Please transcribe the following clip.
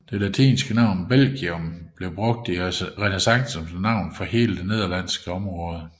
Det latinske navn Belgium blev brugt i renæssancen som navn for hele det nederlandske område